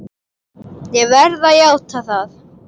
Ég verð að játa það!